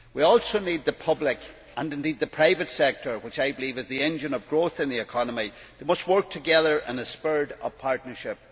We also need the public sector and, indeed, the private sector, which I believe is the engine of growth in the economy, to work together in a spirit of partnership.